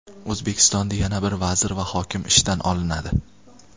O‘zbekistonda yana bir vazir va hokim ishdan olinadi.